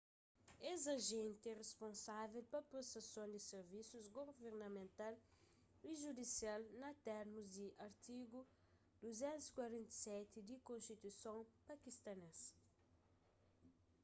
es ajenti é risponsável pa prestason di sirvisus guvernamental y judisial na térmus di artigu 247 di konstituison pakistanês